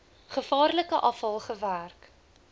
gevaarlike afval gewerk